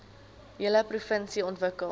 hele provinsie ontwikkel